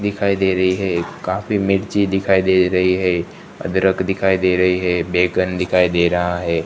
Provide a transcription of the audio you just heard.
दिखाई दे रही है काफी मिर्ची दिखाई दे रही है अदरक दिखाई दे रही है बैगन दिखाई दे रहा है।